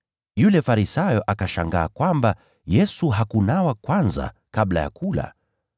Yule Farisayo akashangaa kwamba Yesu hakunawa kwanza kabla ya kula.